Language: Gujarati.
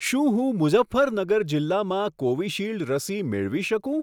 શું હું મુઝફ્ફરનગર જિલ્લામાં કોવિશીલ્ડ રસી મેળવી શકું?